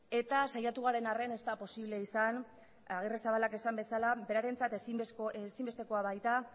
eta saiatu garen arren ez da posible izan agirrezabalak esan bezala berarentzat izenbestekoa baita